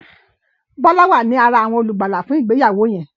Bola wá ní àrà awọn olùgbàlà fún ìgbéyàwó yen.